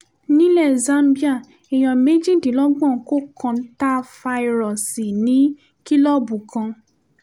nílẹ̀ zambia èèyàn méjìdínlọ́gbọ̀n kọ́ kòńtáfàíróòsì ní kìlọ̀ọ̀bù kan